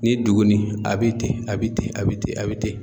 Ni duguni a bi ten a bi ten a bi ten a bi ten